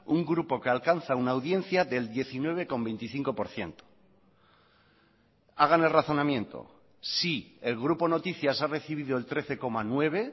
un grupo que alcanza una audiencia del diecinueve coma veinticinco por ciento hagan el razonamiento si el grupo noticias ha recibido el trece coma nueve